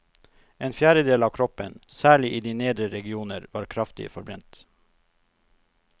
En fjerdedel av kroppen, særlig i de nedre regioner, var kraftig forbrent.